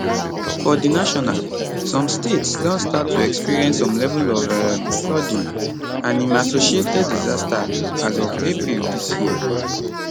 for di national some states don start to experience some level of um flooding and im associated disaster as of april dis year